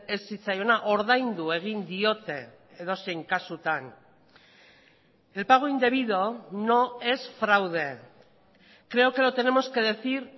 ez zitzaiona ordaindu egin diote edozein kasutan el pago indebido no es fraude creo que lo tenemos que decir